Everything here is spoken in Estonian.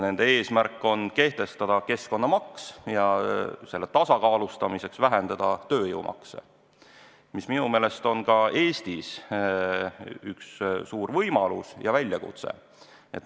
Nende eesmärk on kehtestada keskkonnamaks ja selle tasakaalustamiseks vähendada tööjõumakse, mis minu meelest on ka Eestis üks suur võimalus ja väljakutse.